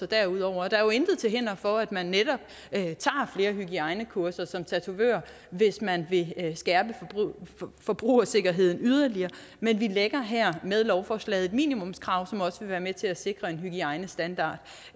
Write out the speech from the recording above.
derudover og der er jo intet til hinder for at man netop tager flere hygiejnekurser som tatovør hvis man vil skærpe forbrugersikkerheden yderligere men vi lægger her med lovforslaget et minimumskrav som også vil være med til at sikre en hygiejnestandard